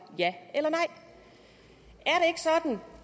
ja eller nej